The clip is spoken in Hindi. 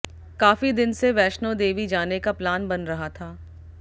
काफी दिन से वैष्णो देवी जाने का प्लान बना रहा था